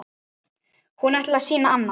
Hún ætlaði að sýna annað.